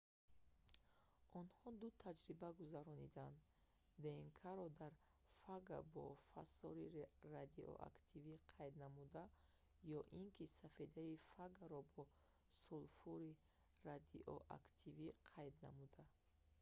онҳо ду таҷриба гузарониданд днк-ро дар фага бо фосори радиоактивӣ қайд намуда ё ин ки сафедаи фагаро бо сулфури радиоактивӣ қайд намуда